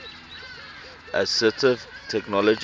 assistive technology